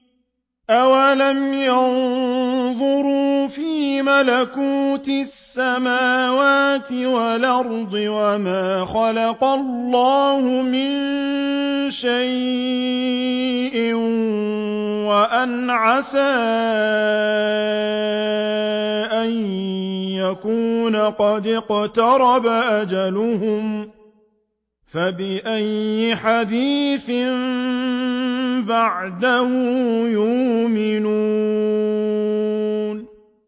أَوَلَمْ يَنظُرُوا فِي مَلَكُوتِ السَّمَاوَاتِ وَالْأَرْضِ وَمَا خَلَقَ اللَّهُ مِن شَيْءٍ وَأَنْ عَسَىٰ أَن يَكُونَ قَدِ اقْتَرَبَ أَجَلُهُمْ ۖ فَبِأَيِّ حَدِيثٍ بَعْدَهُ يُؤْمِنُونَ